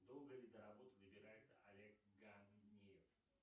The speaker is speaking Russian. долго ли до работы добирается олег ганеев